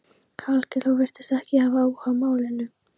Hallkell og virtist ekki hafa áhuga á málinu.